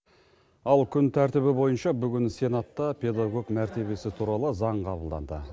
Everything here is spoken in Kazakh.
ал күн тәртібі бойынша бүгін сенатта педагог мәртебесі туралы заң қабылданды